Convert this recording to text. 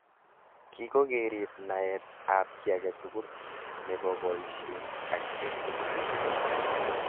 Kii kokerib naet ab ki age tugul nebo boishet ak bik tugul.